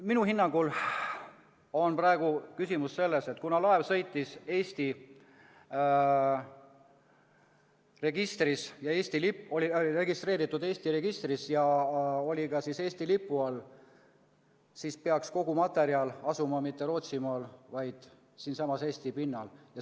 Minu hinnangul on praegu asi selles, et kuna laev oli registreeritud Eesti registris ja sõitis Eesti lipu all, siis peaks kogu materjal asuma mitte Rootsimaal, vaid siinsamas Eesti pinnal.